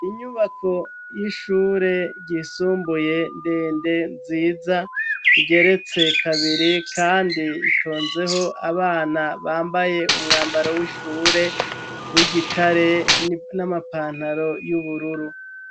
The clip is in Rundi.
Inyubako y'ishure ryisumbuye ndende nziza igeretse kabiri, kandi itonzeho abana bambaye umwambaro w'ishure w'igitare n'amapantaro y'ubururu.